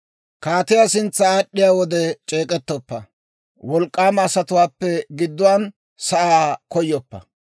Kaatiyaa sintsa aad'd'iyaa wode c'eek'ettoppa; wolk'k'aama asatuwaappe gidduwaan sa'aa koyoppa.